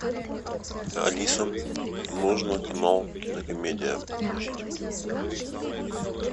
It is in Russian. алиса нужно канал кинокомедия включить